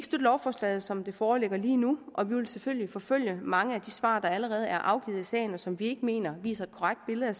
lovforslaget som det foreligger lige nu og vi vil selvfølgelig forfølge mange af de svar der allerede er afgivet i sagen og som vi ikke mener viser et korrekt billede